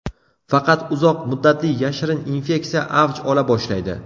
Faqat uzoq muddatli, yashirin infeksiya avj ola boshlaydi.